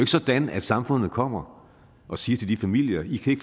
sådan at samfundet kommer og siger til de familier i